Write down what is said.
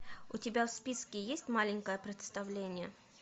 у тебя в списке есть маленькое представление